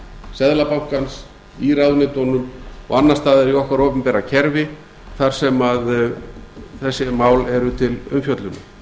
seðlabankans í ráðuneytunum og annars staðar í okkar opinbera kerfi þar sem þessi mál eru til umfjöllunar